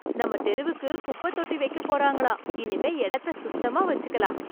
நம்ம தெருவுக்கு குப்பை தொட்டி வைக்கப் போறாங்களாம். இனிமே இடத்த சுத்தமா வச்சுக்கலாம்.